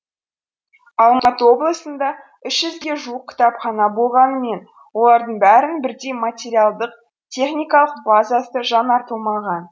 алматы облысында үш жүзге жуық кітапхана болғанымен олардың бәрінің бірдей материалдық техникалық базасы жаңартылмаған